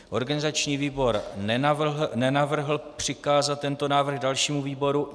Organizační výbor nenavrhl přikázat tento návrh dalšímu výboru.